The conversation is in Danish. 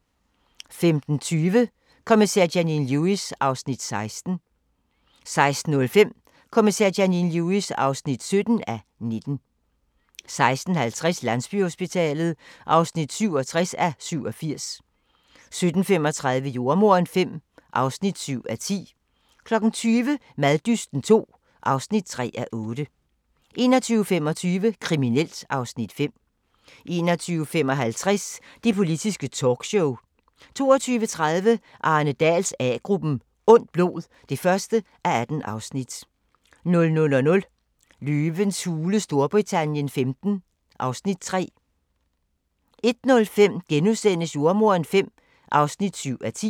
15:20: Kommissær Janine Lewis (16:19) 16:05: Kommissær Janine Lewis (17:19) 16:50: Landsbyhospitalet (67:87) 17:35: Jordemoderen V (7:10) 20:00: Maddysten II (3:8) 21:25: Kriminelt (Afs. 5) 21:55: Det politiske talkshow 22:30: Arne Dahls A-gruppen: Ondt blod (1:18) 00:00: Løvens Hule Storbritannien XV (Afs. 3) 01:05: Jordemoderen V (7:10)*